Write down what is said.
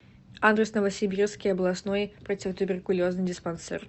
адрес новосибирский областной противотуберкулезный диспансер